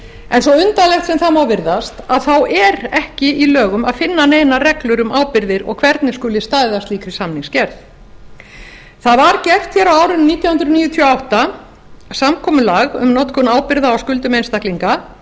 en svo undarlegt sem það má virðast þá er ekki í lögum að finna neinar reglur um ábyrgðir og hvernig skuli staðið að því slíkri samningsgerð það var gert hér á árinu nítján hundruð níutíu og átta samkomulag um notkun ábyrgða á skuldum einstaklinga